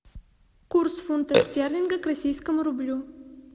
курс фунта стерлинга к российскому рублю